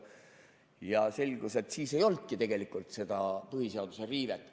Siis selgus, et ei olnudki tegelikult põhiseaduse riivet.